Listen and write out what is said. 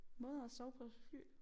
Måder at sove på et fly